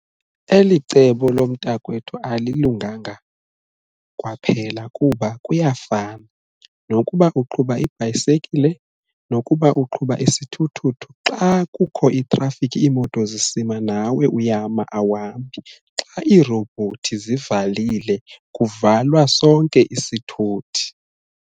Eli cebo lomntakwethu alilunganga kwaphela kuba kuyafana nokuba uqhuba ibhayisekile nokuba uqhuba isithuthuthu. Xa kukho itrafikhi iimoto zisima nawe uyama awuhambi, xa iirobhothi zivalile kuvalwa sonke isithuthi.